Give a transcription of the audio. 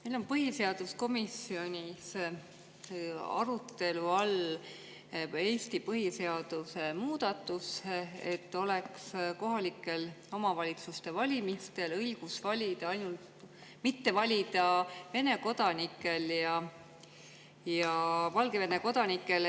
Meil on põhiseaduskomisjonis arutelu all Eesti põhiseaduse muudatus, et kohalike omavalitsuste valimistel ei oleks õigust valida Vene ja Valgevene kodanikel.